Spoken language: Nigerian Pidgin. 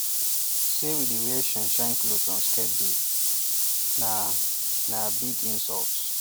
we no dey wear shineshine cloth on sacred day na na big insult